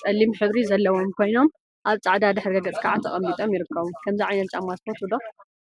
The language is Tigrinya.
ፀሊም ሕብሪ ዘለዎም ኮይኖም፤ አብ ፃዕዳ ድሕረ ገፅ ከዓ ተቀሚጢም ይርከቡ፡፡ ከምዚ ዓይነት ጫማ ትፈትው ዶ?